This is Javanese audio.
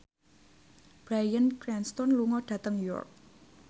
Bryan Cranston lunga dhateng York